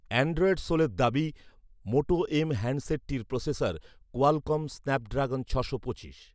Android সোলের দাবি, Moto M হ্যান্ডসেটটির প্রসেসর কোয়ালকম স্ন্যাপড্রাগন ছশো পঁচিশ৷